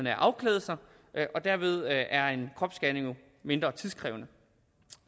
at afklæde sig og derved er en kropsscanning jo mindre tidskrævende